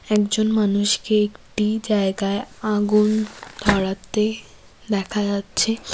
একজন মানুষকে একটি জায়গায় আগুন ধরাতে দেখা যাচ্ছে।